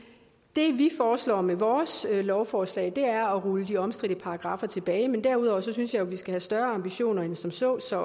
det vi foreslår med vores lovforslag er at rulle de omstridte paragraffer tilbage derudover synes jeg at vi skal have større ambitioner end som så så